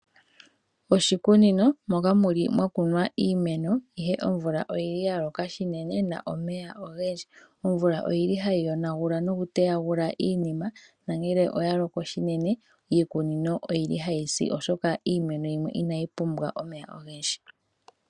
Oshikunino moka muli mwakunwa iimeno ihe omvula oyili yaloka unene na omeya ogeli . Omvula oyili hayi yonagula nokuteya iimeno nongele oya loko unene iikunino oyili hayi si oshoka iiimeno yimwe inayi pumbwa omeya ogendji.